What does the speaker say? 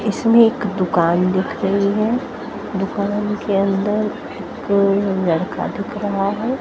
इसमें एक दुकान दिख रही है दुकान के अंदर एक लड़का दिख रहा है।